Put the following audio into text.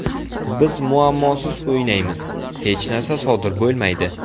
Biz muammosiz o‘ynaymiz, hech narsa sodir bo‘lmaydi.